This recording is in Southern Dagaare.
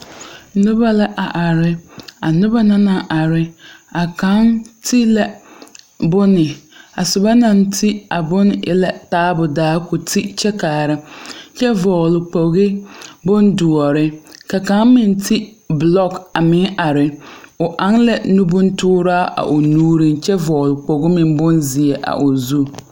Noba la a are a noba na naŋ are a kaŋ te la bonne a soba naŋ te a bonne e la taabu daa ko te kyɛ kaara kyɛ vɔgle kpoge bondoɔre ka kaŋ meŋ te bulɔk a meŋ are o aŋ la nubontuuraa a o nuuriŋ kyɛ vɔgle kpoge meŋ bonzeɛ a o zu.